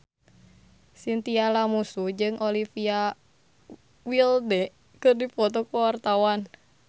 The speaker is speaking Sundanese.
Chintya Lamusu jeung Olivia Wilde keur dipoto ku wartawan